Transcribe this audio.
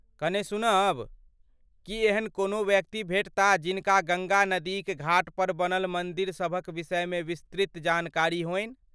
कने सुनब, की एहन कोनो व्यक्ति भेटता जिनका गङ्गा नदीक घाटपर बनल मन्दिर सभक विषयमे विस्तृत जानकारी होनि?